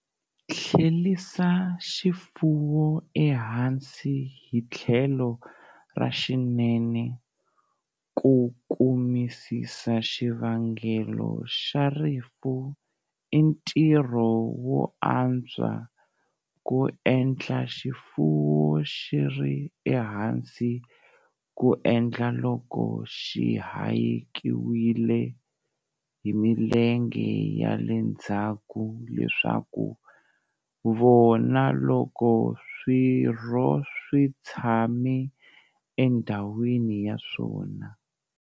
Tlerisa xifuwo ehansi hi tlhelo ra xinene, ku kumisisa xivangelo xa rifu i ntirho wo antswa ku wu endla xifuwo xi ri ehansi ku endla loko xi hayekiwile hi milenge ya le ndzhaku leswaku u vona loko swirho swi tshame endhawini ya swona.